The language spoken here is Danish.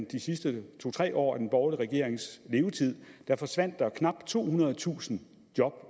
de sidste to tre år af den borgerlige regerings levetid forsvandt der knap tohundredetusind job